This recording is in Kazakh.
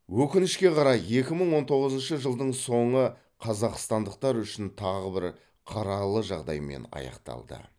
өкінішке қарай екі мың он тоғызыншы жылдың соңы қазақстандықтар үшін тағы бір қаралы жағдаймен аяқталды